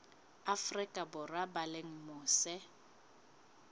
afrika borwa ba leng mose